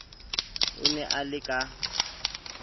o ne o le ka